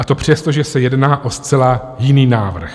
A to přesto, že se jedná o zcela jiný návrh.